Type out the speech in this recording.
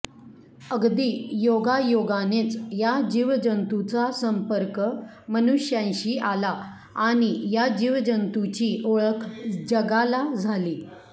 अगदी योगायोगानेच या जीवजंतूंचा संपर्क मनुष्यांशी आला आणि या जीवजंतूंची ओळख जगाला झाली